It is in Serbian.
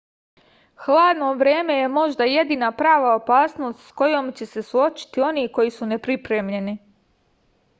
hladno vreme je možda jedina prava opasnost s kojom će se suočiti oni koji su nepripremljeni